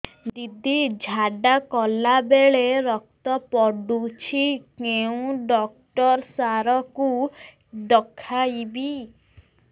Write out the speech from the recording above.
ଦିଦି ଝାଡ଼ା କଲା ବେଳେ ରକ୍ତ ପଡୁଛି କଉଁ ଡକ୍ଟର ସାର କୁ ଦଖାଇବି